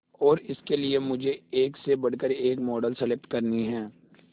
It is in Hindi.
और इसके लिए मुझे एक से बढ़कर एक मॉडल सेलेक्ट करनी है